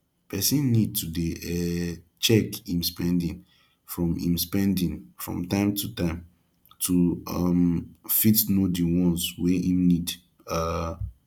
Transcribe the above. person need to dey um check im spending from im spending from time to time to um fit know di ones wey im need um